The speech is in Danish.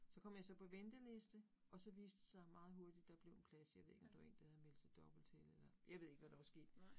Så kom jeg så på venteliste, og så viste det sig meget hurtigt, der blev en plads, jeg ved ikke om det var én, der havde meldt sig dobbelt til eller, jeg ved ikke, hvad der var sket